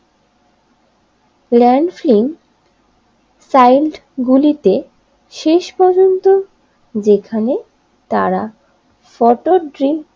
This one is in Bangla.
প্ল্যান ফেল সাইড গুলিতে শেষ পর্যন্ত যেখানে তারা শতদ্রী